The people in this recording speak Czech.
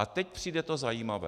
A teď přijde to zajímavé.